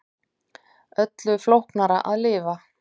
Öllu flóknara að lifa.